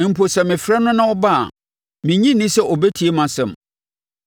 Mpo, sɛ mefrɛ no na ɔba a, mennye nni sɛ ɔbɛtie mʼasɛm.